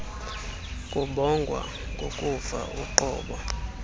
kubongwa ngokufa uqobo